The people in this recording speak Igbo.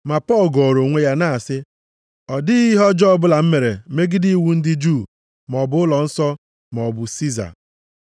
Ma Pọl gọọrọ onwe ya, na-asị, “Ọ dịghị ihe ọjọọ ọbụla m mere megide iwu ndị Juu maọbụ ụlọnsọ, maọbụ Siza.”